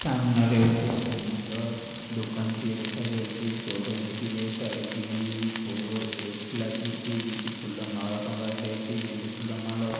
ସାମ୍ନାରେ ଗୋଟେ ସୁନ୍ଦର ଦୋକାନ ଟିଏ ଦେଖାଯାଉଛି ସୋରୁମ ଟିଏ ତାର ବି ଫୋର ଏକ୍ସ ଲାଗିଛି କିଛି ଫୁଲ ମାଳ ଟଙ୍ଗା ଯାଇଛି ଗେଣ୍ଡୁ ଫୁଲ ମାଳ --